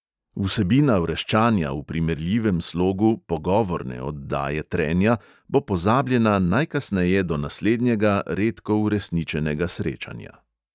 Vsebina vreščanja v primerljivem slogu "pogovorne" oddaje trenja bo pozabljena najkasneje do naslednjega redko uresničenega srečanja.